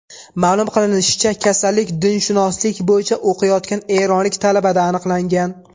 Ma’lum qilinishicha, kasallik dinshunoslik bo‘yicha o‘qiyotgan eronlik talabada aniqlangan .